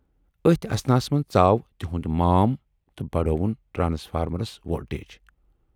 ٲتھۍ اثناہَس منز ژاو تِہُند مام تہٕ بڈٲوٕن ٹرانسفارمرس وولٹیج۔